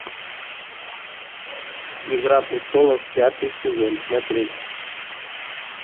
игра престолов пятый сезон смотреть